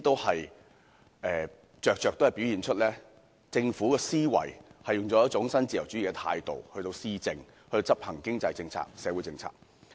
這些均在在表現出政府的思維是以一種新自由主義的態度施政，以及執行經濟和社會政策。